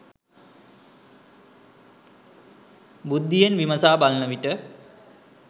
බුද්ධියෙන් විමසා බලනවිට